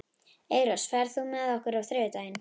Eyrós, ferð þú með okkur á þriðjudaginn?